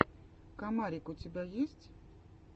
комарик у тебя есть